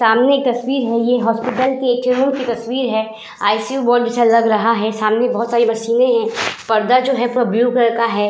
सामने एक तस्वीर है। ये हॉस्पिटल के एक चैम्बर की तस्वीर है। आईसीयू वार्ड जैसा लग रहा है। सामने बोहोत सारी मशीनें हैं। पर्दा जो है पूरा ब्लू कलर का है।